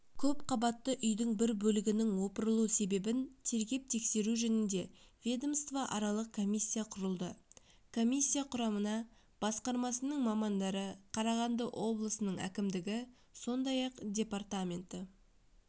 көпқабатты үйдің бір бөлігінің опырылу себебін тергеп-тексеру жөнінде ведомствоаралық комиссия құрылды комиссия құрамына басқармасының мамандары қарағанды облысының әкімдігі сондай-ақ департаменті